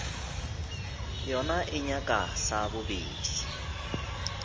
yona e nyaka sa bobedi